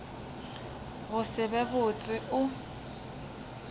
go se be botse o